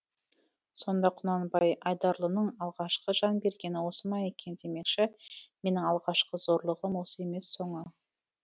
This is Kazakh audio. сонда құнанбай айдарлының алғашқы жан бергені осы ма екен демекші менің алғашқы зорлығым осы емес соңы